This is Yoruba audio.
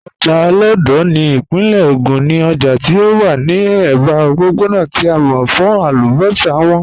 Ojá Olódo ni ipinle Ogun ni òjá tí ó wà ni ẹba ọ̀pọ̀pọ̀na tí a mọ̀ fún àlúbọ́ṣà wọn.